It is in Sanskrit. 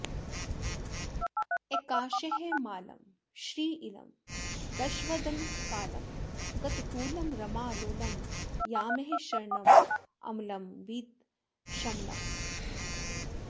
अकार्ष्मालं श्रीलं दशवदनकालं गततुलं रमालोलम् यामः शरणममलं वीतशमलम्